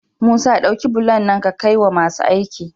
Musa dauki bulon nan ka kai wa masu aiki